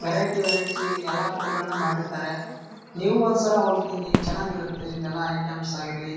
variety variety ಎಲ್ಲ food ಗಳನ್ನೂ ಮಾಡಿರ್ತಾರೆ ನೀವು ಒಂದ್ಸಲ ಹೋಗಿ ತಿನ್ನಿ ಎಲ್ಲ ಚೆನ್ನಾಗಿರುತ್ತೆ ಇಲ್ಲೆಲ್ಲಾ ಐಟಮ್ಸ್ ಆಗಿರ್ಲಿ--